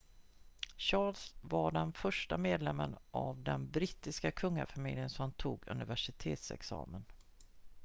charles var den första medlemmen av den brittiska kungafamiljen som tog universitetsexamen